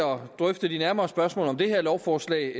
drøfte de nærmere spørgsmål om det her lovforslag